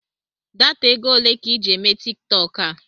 Data égo olé ka I ji eme Tiktọk a?